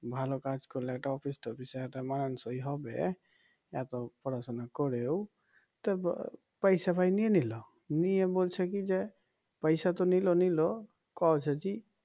ভালো কাজ করলে একটা অফিস টফিসে একটা মানসই হবে এত পড়াশোনা করেও তা পয়সা ভাই নিয়ে নিল নিয়ে বলছে কি যে পয়সা তো নিল নিল "